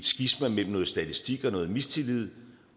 skisma mellem noget statistik og noget mistillid